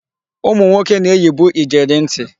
Ụmụnwoke na-eyibu ijeri ntị.